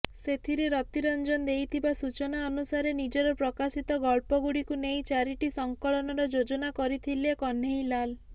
ସେଥିରେ ରତିରଂଜନ ଦେଇଥିବା ସୂଚନା ଅନୁସାରେ ନିଜର ପ୍ରକାଶିତ ଗଳ୍ପଗୁଡ଼ିକୁ ନେଇ ଚାରିଟି ସଂକଳନର ଯୋଜନା କରିଥିଲେ କନ୍ହେଇଲାଲ